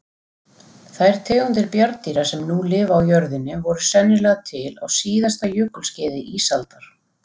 Þær tegundir bjarndýra sem nú lifa á jörðinni voru sennilega til á síðasta jökulskeiði ísaldar.